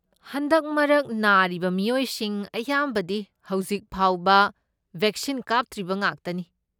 ꯍꯟꯗꯛ ꯃꯔꯛ ꯅꯥꯔꯤꯕ ꯃꯤꯑꯣꯏꯁꯤꯡ ꯑꯌꯥꯝꯕꯗꯤ ꯍꯧꯖꯤꯛꯐꯥꯎꯕ ꯕꯩꯛꯁꯤꯟ ꯀꯥꯞꯇ꯭ꯔꯤꯕ ꯉꯥꯛꯇꯅꯤ꯫